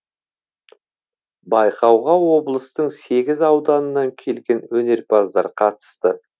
байқауға облыстың сегіз ауданынан келген өнерпаздар қатысты